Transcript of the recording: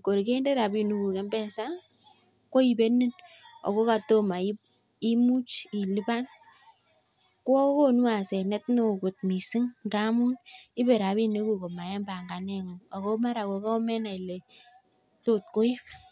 uindoo missing